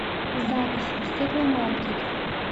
запись стекломаркет